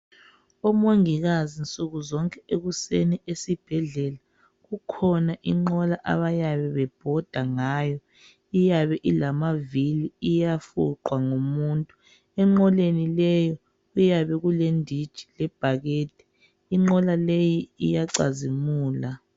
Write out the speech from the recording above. Umongikazi nsukuzonke ekuseni esibhedlela kukhona inqola abayabe bebhoda ngayo iyabe ilamavili iyafunqwa ngumuntu. Enqoleni leyo kuyabe kulenditshi lebhakede, inqola leyi iyacazimula.